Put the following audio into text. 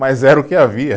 Mas era o que havia.